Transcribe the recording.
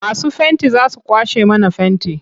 Masu fenti za su kwashe mana fenti.